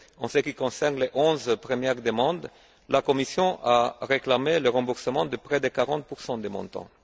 En ce qui concerne les onze premières demandes, la Commission a réclamé le remboursement de près de 40 des montants.